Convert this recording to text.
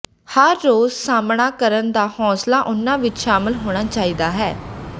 ਹਰ ਰੋਜ਼ ਸਾਹਮਣਾ ਕਰਨ ਦਾ ਹੌਂਸਲਾ ਉਨ੍ਹਾਂ ਵਿੱਚ ਸ਼ਾਮਲ ਹੋਣਾ ਚਾਹੀਦਾ ਹੈ